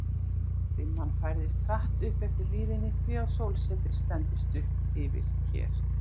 Dimman færðist hratt upp eftir hlíðinni, því að sólsetrið stendur stutt yfir hér við